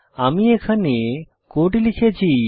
আমি এখানে কোড লিখেছি